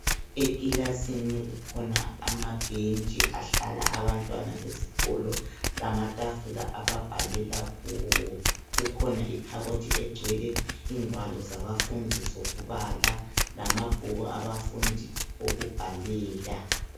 ekilasini kukhona ama bhentshi ahlala abantwana besikolo lamatafula ababhalela kuwo kukhona ikhabothi egcwele ingwalo zamabhuku abafundi okubala lamabhuku abafundi okubhalela